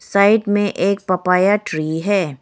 Side में एक papaya tree है।